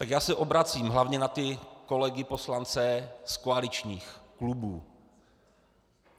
Tak já se obracím hlavně na ty kolegy poslance z koaličních klubů.